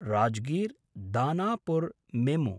राजगीर्–दानापुर् मेमु